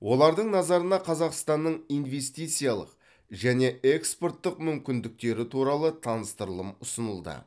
олардың назарына қазақстанның инвестициялық және экспорттық мүмкіндіктері туралы таныстырылым ұсынылды